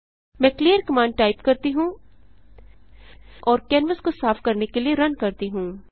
मैं clear command type करती हूँ और कैनवास को साफ करने के लिए रन करती हूँ